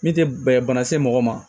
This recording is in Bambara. Min tɛ bana se mɔgɔ ma